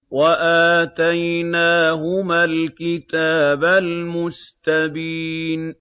وَآتَيْنَاهُمَا الْكِتَابَ الْمُسْتَبِينَ